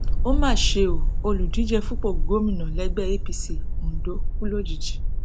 ó mà ṣe o olùdíje fúnpọ gómìnà lẹgbẹ apc ondo kú lójijì